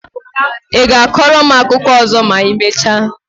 I ga-akọrọ m akụkọ ọzọ ma I mechaa?